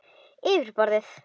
Yfir borðið.